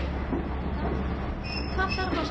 Hvað þarf að sækja?